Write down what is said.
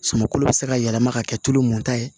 Sumankolo bɛ se ka yɛlɛma ka kɛ tulo mun ta ye